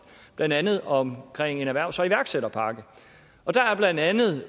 blandt andet om en erhvervs og iværksætterpakke der er blandt andet